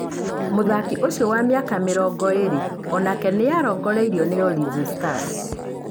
Mũthaki ũcio wa mĩaka mĩrongo ĩĩrĩ o nake nĩ arongoreirio nĩ Ulinzi Stars.